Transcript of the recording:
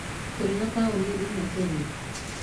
Tũrĩ na taũni inya Kenya.